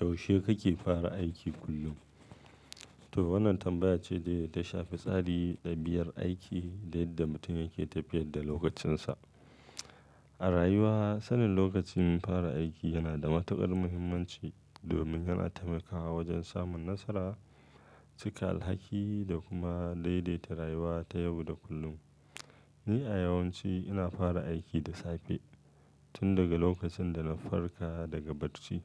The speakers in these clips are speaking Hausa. Yaushe kake fara aiki kullum? Toh wannan tambaya ce da ta shafi tsari da biyar aiki da yadda mutum yake tafiyar da lokacinsa. A rayuwa sanin lokacin fara aiki yana da matukar muhimmanci domin yana taimakawa wajen samun nasara, cika alhaki da kuma daidaita rayuwa ta yau da kullum. Ni a yawanci ina fara aiki da safe tun daga lokacin da na farka daga bacci.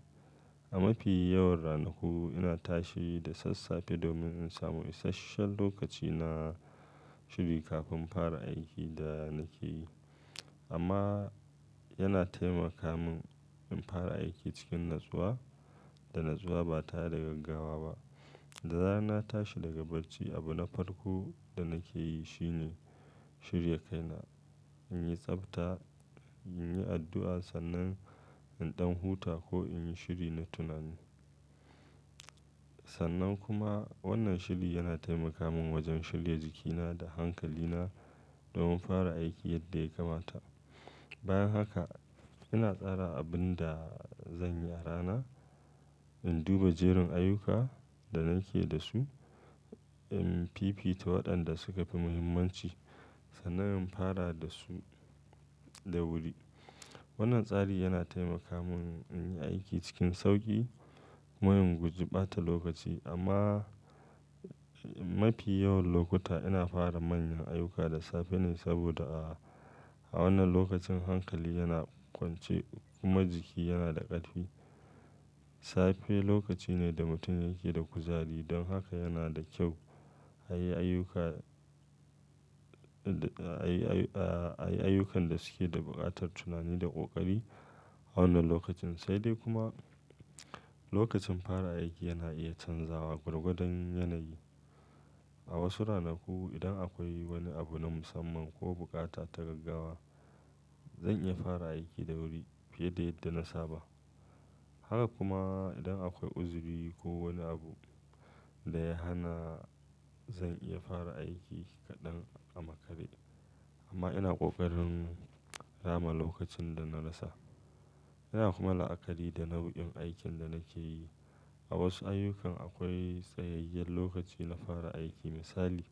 A mafi yawan ranaku ina tashi da sassafe domin in samu isashen lokaci na shiri kafin fara aikin da nake yi. Amma yana taimaka min in fara aiki cikin natsuwa da natsuwa ba ta yi da gaggawa ba. Da zarar na tashi daga bacci, abu na farko da nake yi shine shirya kaina, in yi tsabta, in yi addu'a sannan in ɗan huta ko in yi shiri na tunani. Sannan kuma wannan shiri yana taimaka mun wajen shirya jikina da hankalina domin fara aiki yadda ya kamata. Bayan haka ina tsara abin da zan yi a rana, in duba jerin ayyuka da nake da su, in fifita waɗanda suke da muhimmanci sannan in fara da su da wuri. Wannan tsari yana taimaka min in yi aiki cikin sauƙi kuma in guji ɓata lokaci. Amma mafi yawan lokuta ina fara manyan ayyuka da safe ne saboda a wannan lokacin hankali yana kwance kuma jiki yana da ƙarfi. Safe lokaci ne da mutum yake da kuzari don haka yana da kyau a yi ayyuka, a yi ayyukan da suke da buƙatar tunani da ƙoƙari a wannan lokacin. Sai dai kuma lokacin fara aiki yana iya canzawa gwargwadon yanayi. A wasu ranaku, idan akwai wani abu na musamman ko buƙata ta gaggawa, zan iya fara aiki da wuri fiye da yadda na saba. Haka kuma idan akwai uzuri ko wani abu da ya hana, zan iya fara aiki kaɗan a makare. Amma ina ƙoƙarin rama lokacin da na rasa. Yana kuma la'akari da nau'in aikin da nake yi. A wasu ayyukan akwai tsayayyar lokaci na fara aiki misali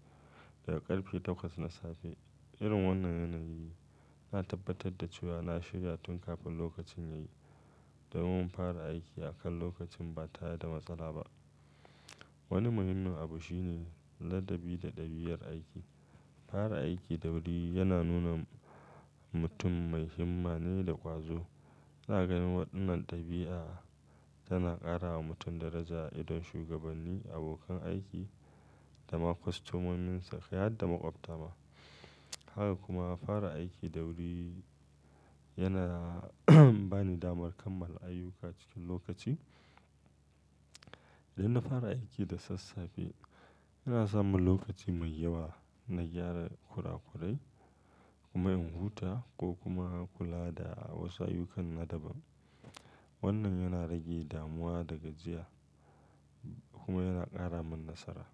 daga ƙarfe takwas na safe. Irin wannan yanayi ina tabbatar da cewa na shirya tun kafin lokacin yayi domin fara aiki akan lokaci ba ta yi da matsala ba. Wani muhimmin abu shine ladabi da ɗabiyar aiki. Fara aiki da wuri yana nuna mutum mai himma ne da ƙwazo. Ina ganin waɗannan ɗabi'a tana ƙara wa mutum daraja a idon shugabanni, abokan aiki da ma kwastomominsa, ƙai har da maƙwabta ma. Haka kuma fara aiki da wuri yana bani damar kammala ayyuka cikin lokaci. Idan na fara aiki da sassafe, ina samun lokaci mai yawa na gyara kurakurai kuma in huta ko kuma in kula da wasu ayyukan na daban. Wannan yana rage damuwa da gajiya kuma yana ƙara min nasara.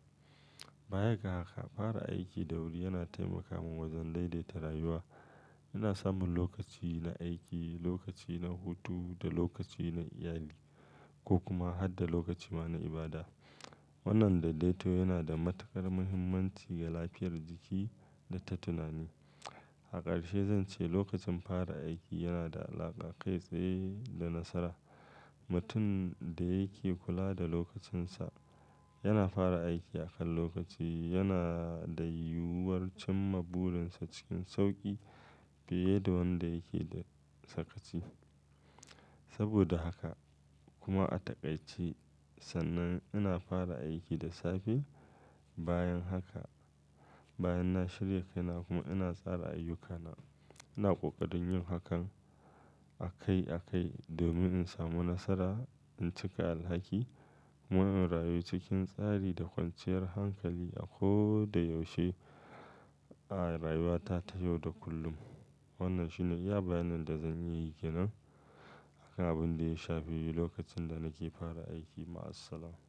Bayan ga haka fara aiki da wuri yana taimaka min wajen daidaita rayuwa. Ina samun lokaci na aiki, lokaci na hutu da lokaci na iyali ko kuma har da lokaci ma na ibada. Wannan daidaito yana da matukar muhimmanci ga lafiyar jiki da ta tunani. A ƙarshe zan ce lokacin fara aiki yana da alaƙa kai tsaye da nasara. Mutum da yake kula da lokacinsa yana fara aiki akan lokaci yana da yiwuwar cimma burinsa cikin sauƙi fiye da wanda yake da sakaci. Saboda haka kuma a taƙaice sannan ina fara aiki da safe. Bayan haka bayan na shirya kaina kuma ina tsara ayyukana. Ina ƙoƙarin yin hakan akai akai domin in samu nasara, in cika alhaki kuma in rayu cikin tsari da kwanciyar hankali a ko da yaushe. A rayuwa ta ta yau da kullum. Wannan shine iya bayanin da zan yi kenan kan abin da ya shafi lokacin da nake fara aiki. Ma'assalam.